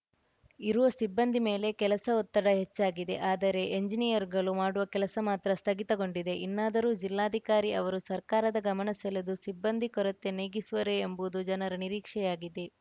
ಇರುವ ಸಿಬ್ಬಂದಿ ಮೇಲೆ ಕೆಲಸ ಒತ್ತಡ ಹೆಚ್ಚಾಗಿದೆ ಆದರೆ ಎಂಜಿನಿಯರುಗಳು ಮಾಡುವ ಕೆಲಸ ಮಾತ್ರ ಸ್ಥಗಿತಗೊಂಡಿದೆ ಇನ್ನಾದರೂ ಜಿಲ್ಲಾಧಿಕಾರಿ ಅವರು ಸರ್ಕಾರದ ಗಮನ ಸೆಳೆದು ಸಿಬ್ಬಂದಿ ಕೊರತೆ ನೀಗಿಸುವರೇ ಎಂಬುದು ಜನರ ನಿರೀಕ್ಷೆಯಾಗಿದೆ